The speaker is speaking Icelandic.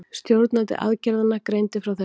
Stjórnandi aðgerðanna greindi frá þessu